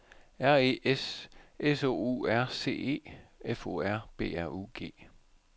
R E S S O U R C E F O R B R U G